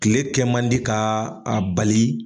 kile kɛ man di k'a bali.